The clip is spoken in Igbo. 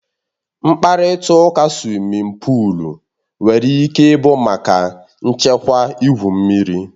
Mkparịta ụka suwimin pụụl nwere ike ịbụ maka nchekwa igwu mmiri.